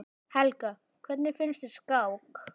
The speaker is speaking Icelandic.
Helga: Hvernig finnst þér skák?